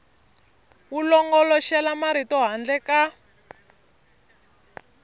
wu longoloxela marito handle ka